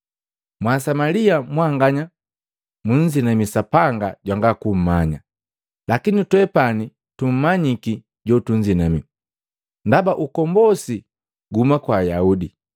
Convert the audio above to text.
Mwasamalia mwanganya munzinamii sapanga jwanga kummanya, lakini twepani tumanyiki jotunzinamii, ndaba ukombosi guhuma kwa Ayahude.